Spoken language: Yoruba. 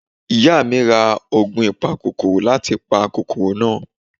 iyá mi rá oògùn ìpá kòkòrò láti fi pa kòkòrò náà.